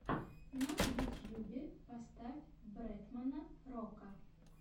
на ютьюбе поставь бретмана рока